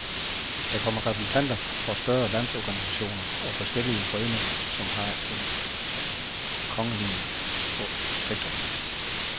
Der kommer repræsentanter for større landsorganisationer og forskellige foreninger, som har en kongelige protektor.